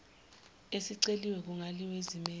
esiceliwe kungaliwa ezimeni